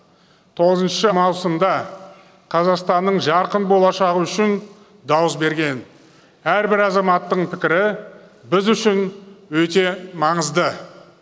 тоғызыншы маусымда қазақстанның жарқын болашағы үшін дауыс берген әрбір азаматтың пікірі біз үшін өте маңызды